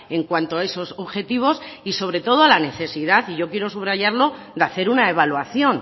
en cuanto a esos objetivos y sobre todo la necesidad y yo quiero subrayarlo de hacer una evaluación